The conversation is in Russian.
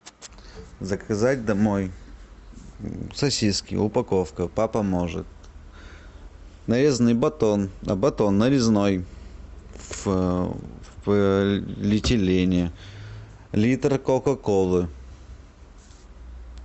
заказать домой сосиски упаковка папа может нарезанный батон батон нарезной в полиэтилене литр кока колы